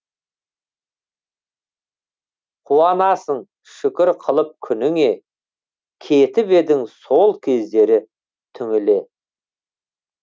қуанасың шүкір қылып күніңе кетіп едің сол кездері түңіле